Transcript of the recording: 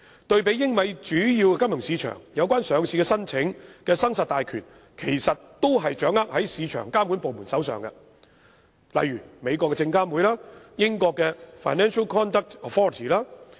對比英美主要金融市場，有關上市申請的生殺大權都是掌握在市場監管部門手上，例如美國的證券交易委員會、英國的金融市場行為監管局。